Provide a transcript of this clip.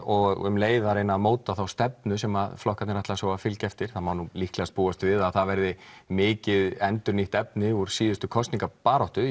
og um leið að reyna að móta þá stefnu sem flokkarnir ætla að fylgja eftir það má nú líklega búast við að það verði mikið endurnýtt efni úr síðustu kosningabaráttu